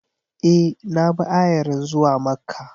E, na bi ayarin zuwa Makka.